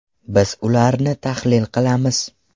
Biz ularni tahlil qilamiz.